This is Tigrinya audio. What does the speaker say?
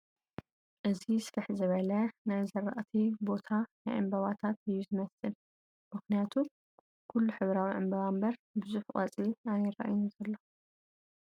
እዚ ስፍሕ ዝበለ ናይ ዝራዕቲ ቦታ ናይ ዕምበባታት እዩ ዝመስል ፡ምኽንያቱም ኽሉ ሕብራዊ ዕበባ እምበር ብዙሕ ቖፅሊ ኣይረኣይን ዘሎ ።